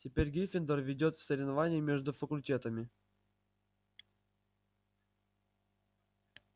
теперь гриффиндор ведёт в соревновании между факультетами